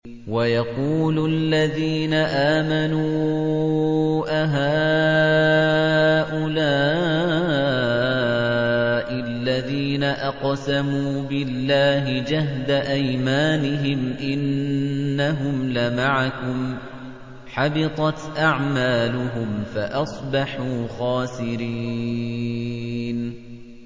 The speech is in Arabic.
وَيَقُولُ الَّذِينَ آمَنُوا أَهَٰؤُلَاءِ الَّذِينَ أَقْسَمُوا بِاللَّهِ جَهْدَ أَيْمَانِهِمْ ۙ إِنَّهُمْ لَمَعَكُمْ ۚ حَبِطَتْ أَعْمَالُهُمْ فَأَصْبَحُوا خَاسِرِينَ